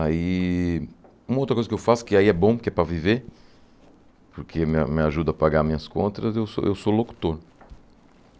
Aí uma outra coisa que eu faço, que aí é bom porque é para viver, porque me me ajuda a pagar minhas contas, eu sou eu sou locutor.